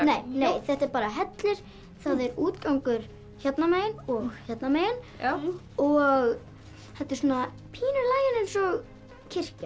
þetta er bara hellir það er útgangur hérna megin og hérna megin og þetta er pínu í laginu eins og kirkja